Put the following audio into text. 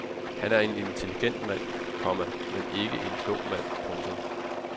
Han er en intelligent mand, komma men ikke nogen klog mand. punktum